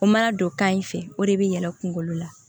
O mana don kan in fɛ o de bɛ yɛlɛn kunkolo la